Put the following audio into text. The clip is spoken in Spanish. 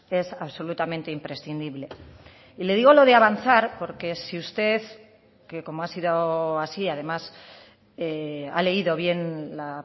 es absolutamente imprescindible y le digo lo de avanzar porque si usted que como ha sido así además ha leído bien la